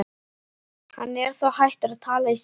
Hann er þá hættur að tala í símann.